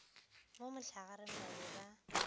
mo mohlagareng ba be ba